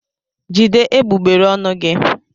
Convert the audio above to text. Jide egbugbere ọnụ gị!